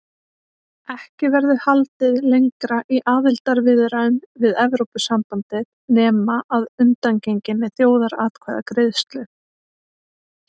Ekki verður haldið lengra í aðildarviðræðum við Evrópusambandið nema að undangenginni þjóðaratkvæðagreiðslu.